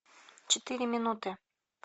четыре минуты